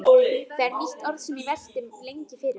Það er nýtt orð sem ég velti lengi fyrir mér.